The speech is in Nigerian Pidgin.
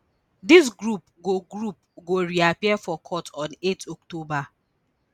dis group go group go reappear for court on eight october